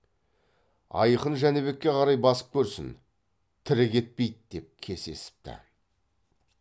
аяқын жәнібекке қарай басып көрсін тірі кетпей ді деп кесесіпті